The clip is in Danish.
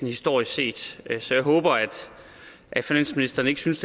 historisk set så jeg håber at finansministeren ikke synes